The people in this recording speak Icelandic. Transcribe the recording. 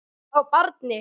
Hvað þá barni.